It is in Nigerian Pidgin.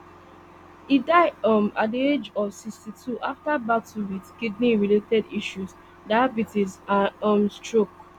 e die um at di age of sixty-two afta battle wit kidney related issues diabetes and um stroke